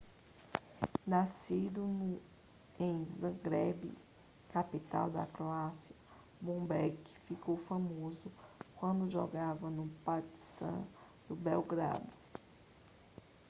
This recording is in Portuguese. nascido em zagreb capital da croácia bobek ficou famoso quando jogava no partizan de belgrado